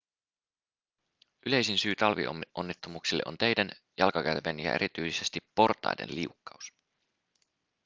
yleisin syy talvionnettomuuksille on teiden jalkakäytävien ja erityisesti portaiden liukkaus